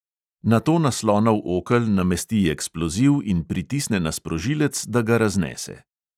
Nato na slonov okel namesti eksploziv in pritisne na sprožilec, da ga raznese.